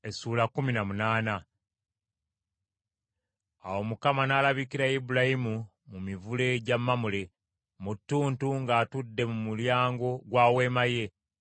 Awo Mukama n’alabikira Ibulayimu mu mivule gya Mamule, mu ttuntu ng’atudde mu mulyango gwa weema ye.